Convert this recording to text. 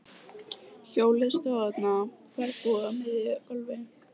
Hjólið stóð þarna ferðbúið á miðju gólfi.